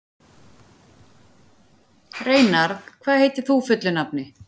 Reynarð, hvað heitir þú fullu nafni?